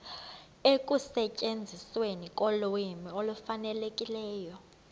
ekusetyenzisweni kolwimi olufanelekileyo